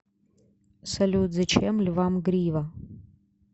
салют зачем львам грива